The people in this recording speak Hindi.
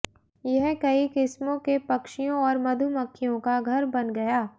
यह कई किस्मों के पक्षियों और मधुमखियों का घर बन गया